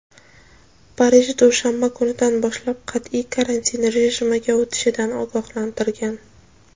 Parij dushanba kunidan boshlab qat’iy karantin rejimga o‘tishidan ogohlantirgan.